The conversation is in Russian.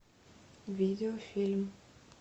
видеофильм